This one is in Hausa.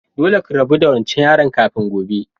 Dolle ki rabu da wancan yaron kafin gobe!